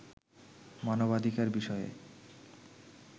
মানবাধিকার বিষয়ে